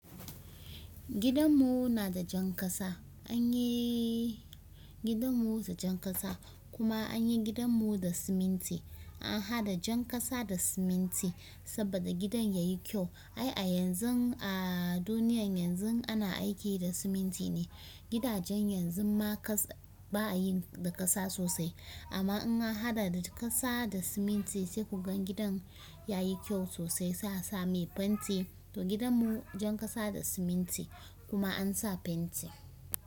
Gidan mu na da jan kasa, an yi gidan mu da jan kasa kuma an yi gidan mu da siminti. An haɗa jan kasa da siminti saboda gidan ya yi kyau. Ai a yanzun a duniyan yanzun ana aiki da siminti ne. Gidajen yanzun ma kasa ba a yin da kasa sosai. Amma in an hada da kasa da siminti sai ku ga gidan yayi kyau sosai sai a se me penti to gidan mu jan kasa da siminti kuma an sa fenti.